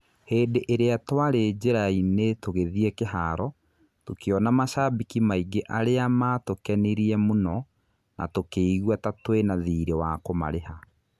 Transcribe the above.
" Hĩndĩ ĩrĩa tũarĩ njĩra-inĩ tũgĩthiĩ kĩharo, tũkĩona macambĩki maingĩ arĩa matũkenirie mũno na tũkĩigua ta tũĩna thirĩ wa kũmariha.